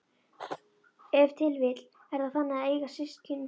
Ef til vill er það þannig að eiga systkin?